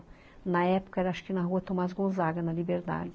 Na época era acho que na rua Tomaz Gonzaga, na Liberdade.